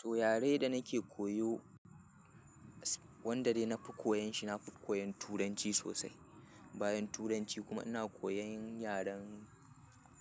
To yare da nake koyo, wanda dai na fi koyon shi, na fi koyon Turanci sosai. Bayan turanci kuma ina koyan yaren